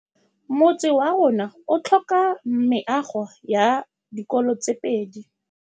Motse warona o tlhoka meago ya dikolô tse pedi.